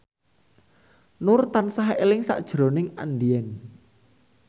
Nur tansah eling sakjroning Andien